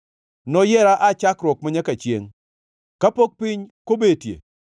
Noyiera aa chakruok manyaka chiengʼ, kapok piny kobetie.